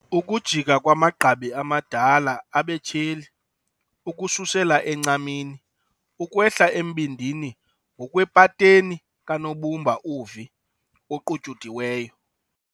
Ukujika kwamagqabi amadala abe tyheli ukususela encamini, ukwehla embindini ngokwepateni kanobumba "u-V" oqutyudiweyo.